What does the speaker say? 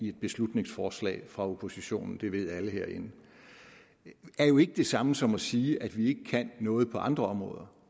et beslutningsforslag fra oppositionen det ved alle herinde er jo ikke det samme som at sige at vi ikke kan noget på andre områder